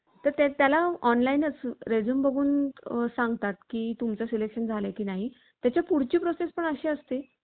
तर ते त्याला online च resume बघून सांगतात की तुमचं selection झाले की नाही. त्याच्या पुढची process पण अशी असते